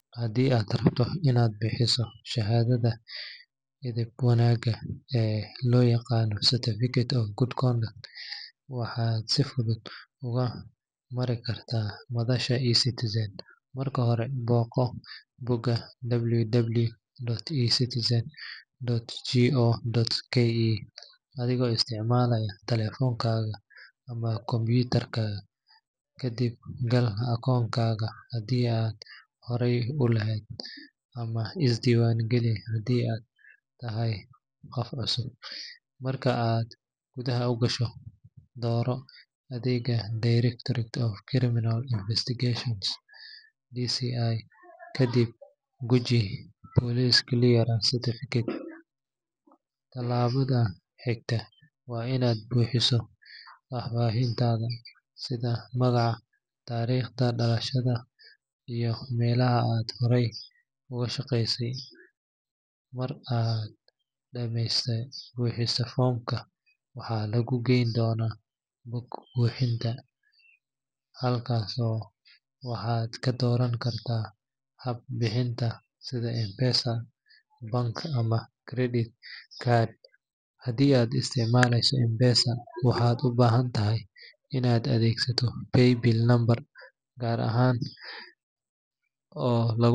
Haddii aad rabto inaad bixiso shahaadada edeb wanaagga ee loo yaqaan Certificate of Good Conduct, waxaad si fudud uga mari kartaa madasha eCitizen. Marka hore, booqo bogga www.ecitizen.go.ke adigoo isticmaalaya telefoonkaaga ama kombiyuutarka, kadibna gal akoonkaaga haddii aad horey u leedahay, ama iska diiwaan geli haddii aad tahay qof cusub. Marka aad gudaha gasho, dooro adeegga Directorate of Criminal Investigations (DCI), kadibna guji Police Clearance Certificate. Tallaabada xigta waa inaad buuxiso faahfaahintaada sida magac, taariikhda dhalashada iyo meelaha aad horay uga shaqeysay. Marka aad dhammayso buuxinta foomka, waxaa lagu geyn doonaa bog bixinta. Halkaas waxaad ka dooran kartaa hab bixineed sida M-Pesa, bank ama credit card. Haddii aad isticmaaleyso M-Pesa, waxaad u baahan tahay inaad adeegsato Paybill number gaar ah oo lagu.